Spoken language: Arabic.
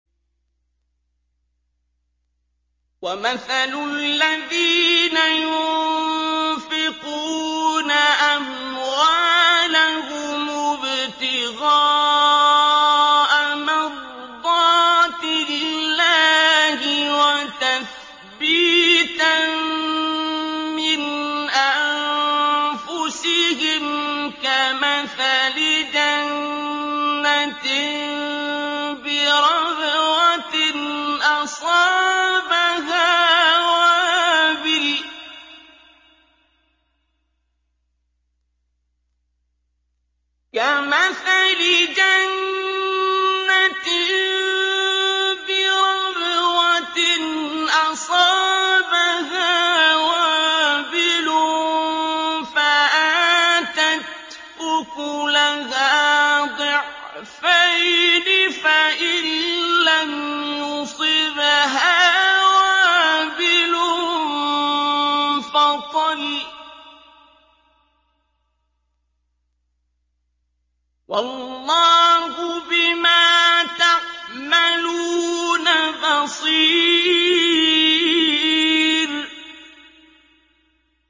وَمَثَلُ الَّذِينَ يُنفِقُونَ أَمْوَالَهُمُ ابْتِغَاءَ مَرْضَاتِ اللَّهِ وَتَثْبِيتًا مِّنْ أَنفُسِهِمْ كَمَثَلِ جَنَّةٍ بِرَبْوَةٍ أَصَابَهَا وَابِلٌ فَآتَتْ أُكُلَهَا ضِعْفَيْنِ فَإِن لَّمْ يُصِبْهَا وَابِلٌ فَطَلٌّ ۗ وَاللَّهُ بِمَا تَعْمَلُونَ بَصِيرٌ